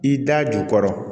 I da jukɔrɔ